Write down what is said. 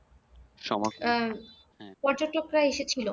আহ পর্যটকরা এসেছিল